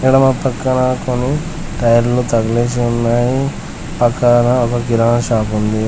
ఇక్కడ మా పక్కన కొన్ని టైర్లు తగలేసి ఉన్నాయి పక్కన ఒక కిరాణా షాపుంది .